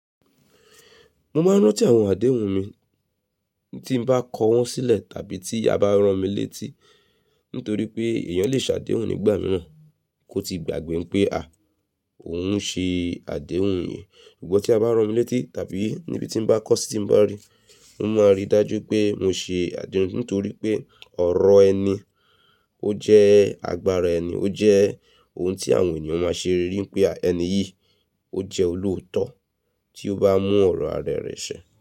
Mọ máa ń rántí àwọn àdéhùn mi, tí n bá kọ wọn sílẹ̀ tàbí tí a bá rán mi létí. Nítorí pé ẹ̀yàn lè ṣàdéhùn nígbà mìíràn kó ti gbàgbé pé a, òun ṣe àdéhùn yẹn. Ṣùgbọ́n tí a bá rán mi létí tàbí níbi tí n bá kọ́ si, tí n bá rí, mo máa ríi dájú pé mọ ṣe àdéhùn. Nítorí pé ọ̀rọ̀ ẹni ó jẹ́ agbára ẹni, ó jẹ́ ohun tí àwọn ènìyàn máa ṣe rí pé a, ẹni yìí ó jẹ́ olóòótọ́ tí ó bá mú ọ̀rọ̀ ara rẹ̀ ṣẹ.